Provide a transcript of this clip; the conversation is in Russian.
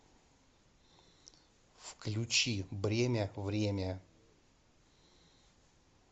включи бремя время